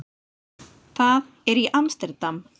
Það er í Amsterdam.